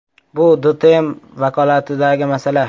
“Bu DTM vakolatidagi masala”.